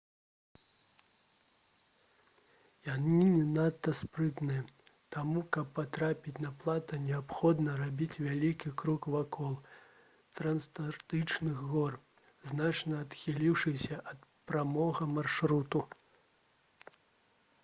яны не надта спрытныя таму каб патрапіць на плато неабходна рабіць вялікі крук вакол трансантарктычных гор значна адхіліўшыся ад прамога маршруту